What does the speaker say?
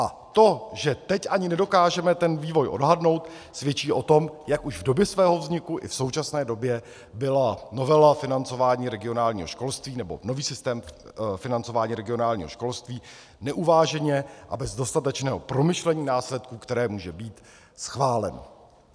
A to, že teď ani nedokážeme ten vývoj odhadnout, svědčí o tom, jak už v době svého vzniku i v současné době byla novela financování regionálního školství, nebo nový systém financování regionálního školství neuváženě a bez dostatečného promyšlení následků, které může mít, schválen.